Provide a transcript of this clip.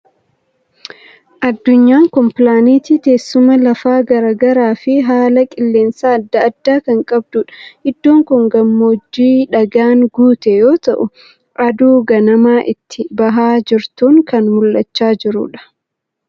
Addunyaan kun pilaaneetii teessuma lafaa garaa garaa fi haala qilleensa adda addaa kan qabdudha. Iddoon kun gammoojjii dhagaadhaan guute yoo ta'u, aduu ganamaa itti bahaa jirtuun kan mul'achaa jiru dha.